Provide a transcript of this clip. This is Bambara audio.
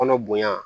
Kɔnɔ bonya